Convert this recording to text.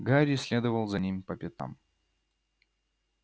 гарри следовал за ним по пятам